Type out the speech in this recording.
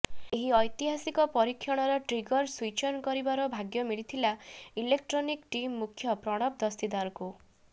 ଏହି ଐତିହାସିକ ପରୀକ୍ଷଣର ଟ୍ରିଗର ସୁଇଚ୍ ଅନ କରିବାର ଭାଗ୍ୟ ମିଳିଥିଲା ଇଲୋକଟ୍ରନିକ ଟିମ୍ ମୁଖ୍ୟ ପ୍ରଣବ ଦସ୍ତିଦାରଙ୍କୁ